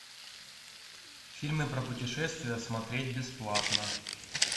фильмы про путешествия смотреть бесплатно